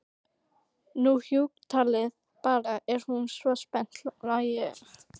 Nú hjúkkutalið bara, er það svona spennandi, hló hún.